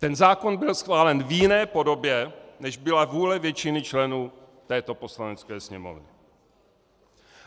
Ten zákon byl schválen v jiné podobě, než byla vůle většiny členů této Poslanecké sněmovny.